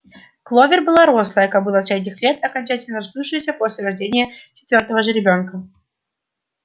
кловер была рослая кобыла средних лет окончательно расплывшаяся после рождения четвёртого жеребёнка